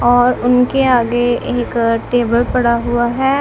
और उनके आगे एक टेबल पड़ा हुआ है।